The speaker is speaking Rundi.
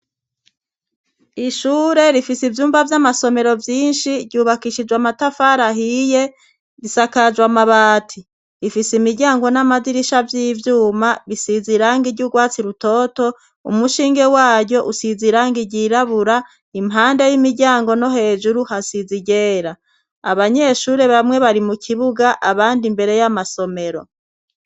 Ishure rifise ivyumba vy'amasomero vyinshi. Ryubakishijwe amatafari ahiye, risakajwe amabati. Rifise imiryango n'amadirisha vy'ivyuma, bisize irangi ry'urwatsi rutoto. Umushinge wayo usize irangi ryirabura. Impande y'imiryango no hejuru, hasize iryera. Abanyeshure bamwe bari mu kibuga, abandi imbere y'amasomero.